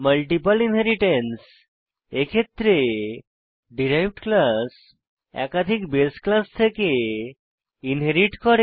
multiple inheritance এক্ষেত্রে derived class একাধিক বাসে ক্লাস থেকে ইনহেরিট করে